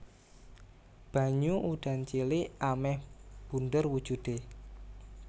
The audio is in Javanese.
Banyu udan cilik amèh bunder wujudé